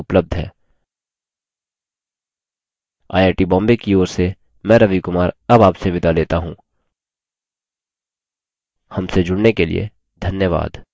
I I T Bombay की ओर से मैं रवि कुमार अब आपसे विदा लेता हूँ हमसे जुड़ने के लिए धन्यवाद